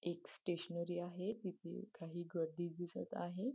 एक स्टेशनरी आहे तिथे काही गर्दी दिसत आहे.